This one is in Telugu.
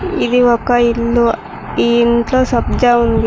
ఇది ఒక ఇల్లు ఈ ఇంట్లో సబ్జా ఉంది.